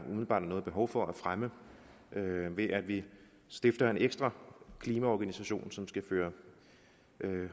noget behov for at fremme ved at vi stifter en ekstra klimaorganisation som skal